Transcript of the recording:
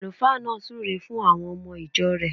Àlùfáà náà súre fun àwon omo ìjo rẹ̀